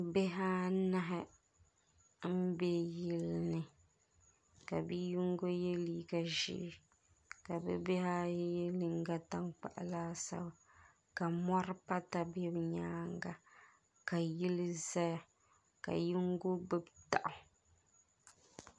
Bihi anahi n bɛ yili ni ka bia yinga yɛ liiga ʒee ka bi bihi ayi yɛ liiga tankpaɣu laasabu ka mɔri pata bɛ bi nyaanga ka yili zaya ka yingo gbubi daɣu.